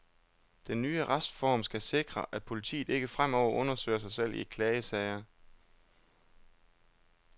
Den nye retsreform skal sikre, at politiet ikke fremover undersøger sig selv i klagesager.